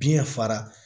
Biɲɛ fara